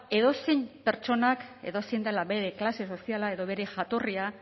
edozein pertsonak edozein dela bere klase soziala edo bere jatorria